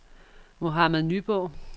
Mohammad Nyborg